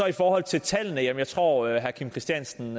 i forhold til tallene at jeg tror at herre kim christiansen